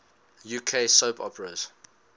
uk soap operas